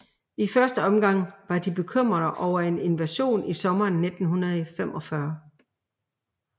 I første omgang var de bekymrede over en invasion i sommeren 1945